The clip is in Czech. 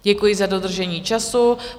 Děkuji za dodržení času.